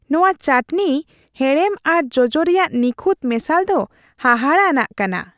ᱱᱚᱶᱟ ᱶᱟᱹᱴᱱᱤ ᱦᱮᱲᱮᱢ ᱟᱨ ᱡᱚᱡᱚ ᱨᱮᱭᱟᱜ ᱱᱤᱠᱷᱩᱴ ᱢᱮᱥᱟᱞ ᱫᱚ ᱦᱟᱦᱟᱲᱟᱜ ᱟᱱᱟᱜ ᱠᱟᱱᱟ ᱾